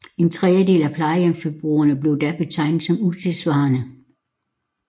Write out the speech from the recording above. En trediedel af plejehjemsboligerne blev da betegnet som utidssvarende